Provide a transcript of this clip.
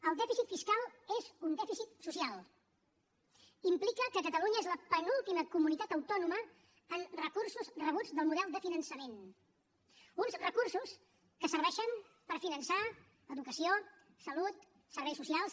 el dèficit fiscal és un dèficit social implica que catalunya és la penúltima comunitat autònoma en recursos rebuts del model de finançament uns recursos que serveixen per finançar educació salut serveis socials